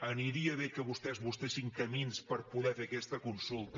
aniria bé que vostès busquessin camins per poder fer aquesta consulta